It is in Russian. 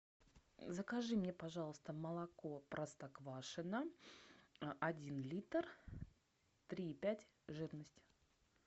закажи мне пожалуйста молоко простоквашино один литр три и пять жирность